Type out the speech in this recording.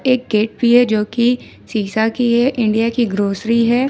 एक गेट भी है जो की शीशा की है इंडिया की ग्रोसरी है।